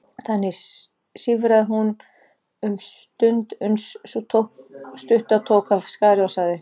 Þannig sífraði hún um stund uns sú stutta tók af skarið og sagði